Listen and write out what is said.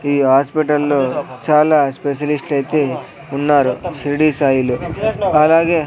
ఈ హాస్పిటల్లో చాలా స్పెషలిస్ట్ ఐతే ఉన్నారు షిరిడి సాయిలు అలాగే--